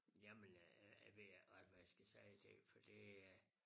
Jamen øh jeg ved ikke også hvad jeg skal sige til det for det øh